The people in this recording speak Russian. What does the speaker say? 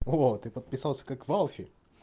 вот и подписался как валфи